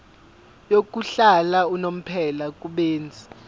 yokuhlala unomphela kubenzi